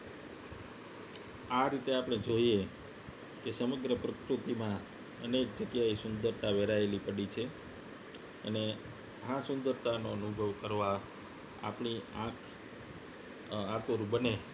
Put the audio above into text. આ રીતે આપણે જોઈએ કે સમગ્ર પ્રકૃતિમાં અનેક જગ્યાએ સુંદરતા વેરાયેલી પડી છે અને આ સુંદરતાનો અનુભવ કરવા આપણી આંખ આતુંર બને